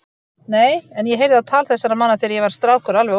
Nei, en ég heyrði á tal þessara manna þegar ég var strákur alveg óvart.